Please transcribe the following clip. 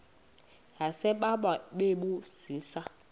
yasebawa bebu zisa